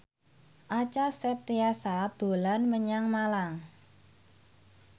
Acha Septriasa dolan menyang Malang